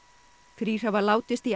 þrír hafa látist í